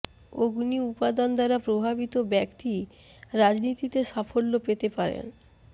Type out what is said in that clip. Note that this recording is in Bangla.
অগ্নি উপাদান দ্বারা প্রভাবিত ব্যক্তি রাজনীতিতে সাফল্য পেতে পারেন